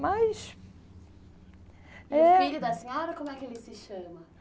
Mas, é... E o filho da senhora, como é que ele se chama?